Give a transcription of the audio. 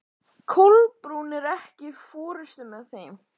Kolbrún, ekki fórstu með þeim?